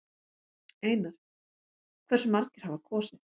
Einar: Hversu margir hafa kosið?